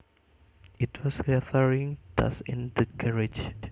It was gathering dust in the garage